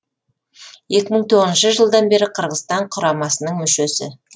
екі мың тоғызыншы жылдан бері қырғызстан құрамасының мүшесі